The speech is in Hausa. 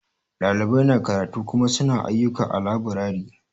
Ɗalibai na karatu Kuma su na ayyuka a laburare.